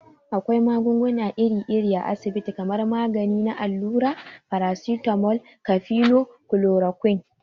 Akwai magunguna iri iri a asabiti kamar magani na allura, farasitamol, kafino, kulorakwin.